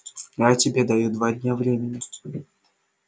я тебе даю два дня времени